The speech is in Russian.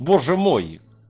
боже мой